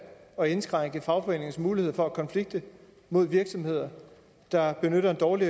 at indskrænke fagforeningernes mulighed for at konflikte mod virksomheder der benytter en dårlig